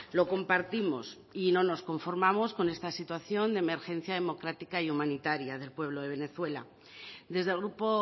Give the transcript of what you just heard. lo compartimos y no nos conformamos con esta situación de emergencia democrática y humanitaria del pueblo de venezuela desde el grupo